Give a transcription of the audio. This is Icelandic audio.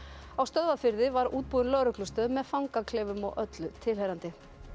á Stöðvarfirði var útbúin lögreglustöð með fangaklefum og öllu tilheyrandi